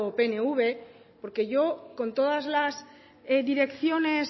pnv porque yo con todas las direcciones